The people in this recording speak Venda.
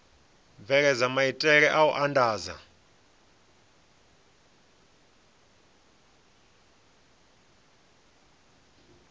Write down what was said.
bveledza maitele a u andadza